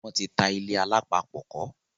wọ́n ti ta ilé-alápapọ̀kọ́.